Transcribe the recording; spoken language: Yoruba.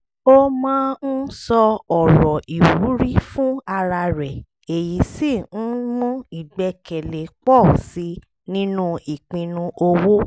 ó máa ń sọ ọ̀rọ̀ ìwúrí fún ara rẹ̀ èyí sì ń mú ìgbẹ́kẹ̀lé pọ̀ sí i nínú ìpinnu owó